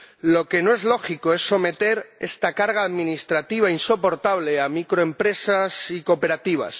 Lo que no es lógico es someter a esta carga administrativa insoportable a microempresas y cooperativas.